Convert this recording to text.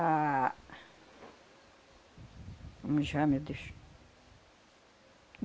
Ah... Como chama, meu Deus.